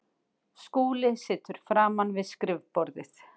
Skúli situr framan við skrifborðið.